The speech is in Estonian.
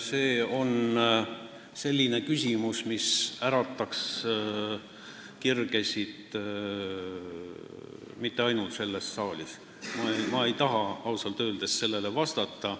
See on selline küsimus, mis ärataks kirgesid mitte ainult selles saalis, ja ma ei taha sellele ausalt öeldes vastata.